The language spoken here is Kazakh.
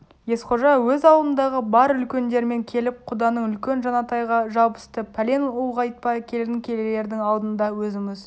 есқожа өз аулындағы бар үлкендерімен келіп құданың үлкен жанатайға жабысты пәлен ұлғайтпа келін келердің алдында өзіміз